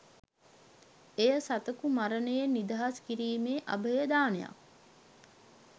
එය සතකු මරණයෙන් නිදහස් කිරීමේ අභය දානයක්.